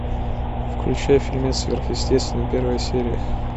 включай фильмец сверхъестественное первая серия